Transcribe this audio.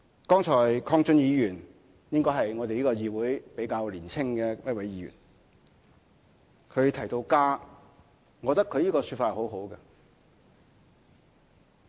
剛才鄺俊宇議員——他應該是我們這個議會中比較年輕的一位——提到家，我覺得他的說法很好。